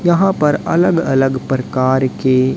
यहां पर अलग अलग परकार के--